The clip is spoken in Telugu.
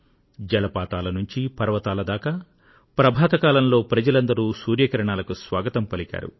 జలపాతాల నుండి పర్వతాల దాకా ప్రభాత కాలంలో ప్రజలందరూ సూర్య కిరణాలకు స్వాగతం పలికారు